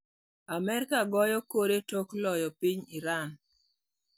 Amerika goyo kore tok loyo piny Iran.